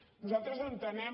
nosaltres entenem